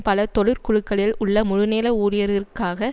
பல தொழிற்குழுக்களில் உள்ள முழுநேர ஊழியர்களுக்காக